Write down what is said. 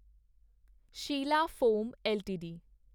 Sheela foam LTD